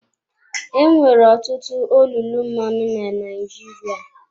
Enwere ọtụtụ olulu mmanụ na Naịjirịa.